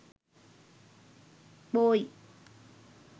boy